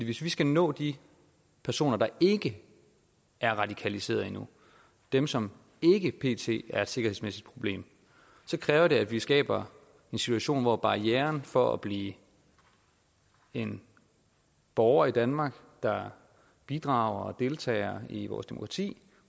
hvis vi skal nå de personer der ikke er radikaliseret endnu dem som ikke pt er et sikkerhedsmæssigt problem så kræver det at vi skaber en situation hvor barrieren for at blive en borger i danmark der bidrager og deltager i vores demokrati